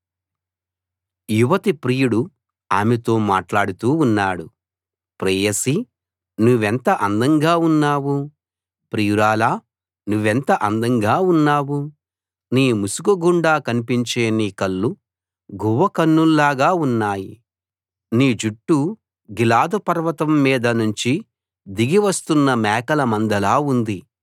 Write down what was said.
యువతి ప్రియుడు ఆమెతో మాట్లాడుతూ ఉన్నాడు ప్రేయసీ నువ్వెంత అందంగా ఉన్నావు ప్రియురాలా నువ్వెంత అందంగా ఉన్నావు నీ ముసుకు గుండా కన్పించే నీ కళ్ళు గువ్వ కన్నుల్లాగా ఉన్నాయి నీ జుట్టు గిలాదు పర్వతం మీద నుంచి దిగి వస్తున్న మేకల మందలా ఉంది